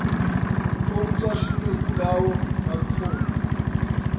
okucashunwe kulawo marekhodi